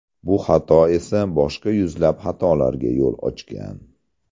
Bu xato esa boshqa yuzlab xatolarga yo‘l ochgan.